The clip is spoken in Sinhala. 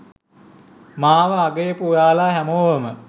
මාව අගයපු ඔයාලා හැමෝවම